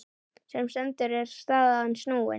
Sem stendur er staðan snúin.